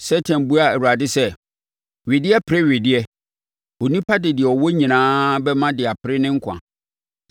Satan buaa Awurade sɛ, “Wedeɛ pere wedeɛ. Onipa de deɛ ɔwɔ nyinaa bɛma de apere ne nkwa.